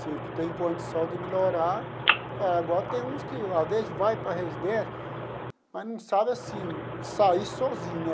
Se tem condição de melhorar... Agora tem uns que, às vezes, vai para a residência, mas não sabem, assim, sair sozinhos né.